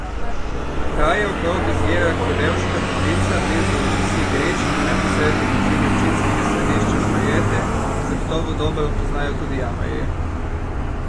Kraje okrog izvira Klevevška toplica blizu vasi Grič in v neposredni bližini občinskega središča Šmarjete zagotovo dobro poznajo tudi jamarji.